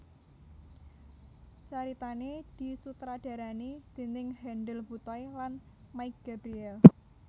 Caritané disutradarani déning Hendel Butoy lan Mike Gabriel